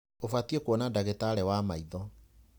Ũbatiĩ kũona ndagitarĩ wa maitho.